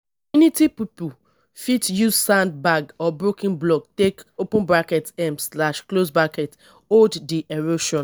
community pipo fit use sand bag or broken blocks take open bracket um slash close bracket hold di erosion